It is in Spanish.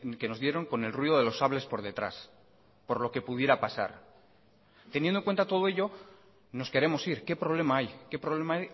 que nos dieron con el ruido de los sables por detrás por lo que pudiera pasar teniendo en cuenta todo ello nos queremos ir qué problema hay qué problema